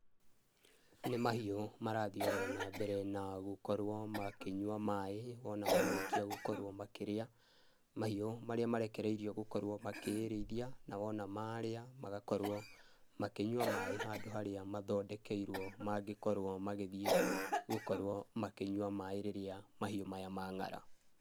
Nĩ mahiũ marathiĩ oro na mbere na gũkorwo makĩnyua maaĩ wona marĩkia gũkorwo makĩrĩa. Mahiũ marĩa marekereirio gũkorwo makĩĩrĩithia na wona marĩa magakorwo makinyua maaĩ handũ harĩa mathondekeirwo mangĩkorwo magĩthiĩ gũkorwo makinyua maaĩ rĩrĩa mahiũ maya mang'ara.